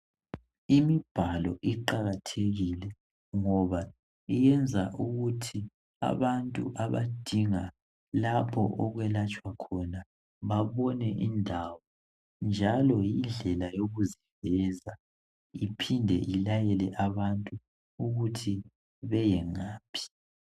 Imibhalo iqakathekile ngoba iyenza ukuthi abantu abadinga lapho okwelatshwa khona babone indawo njalo yindlela yokuziveza iphinde ilayele abantu ukuthi beyengaphi.